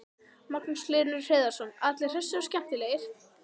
Magnús Hlynur Hreiðarsson: Allir hressir og skemmtilegir?